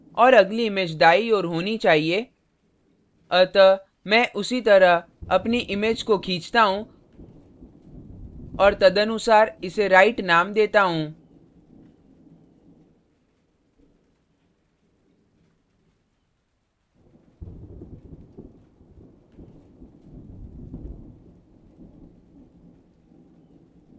और अगली image दायीं ओर होनी चाहिए अतः मैं उसी तरह अपनी image को खींचता हूँ और तदनुसार इसे right right name देता हूँ